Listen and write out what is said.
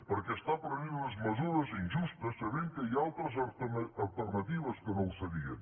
perquè està prenent unes mesures injustes sabent que hi ha altres alternatives que no ho serien